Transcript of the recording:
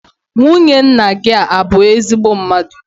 Nwunye nna gị a bụ ezigbo mmadụ?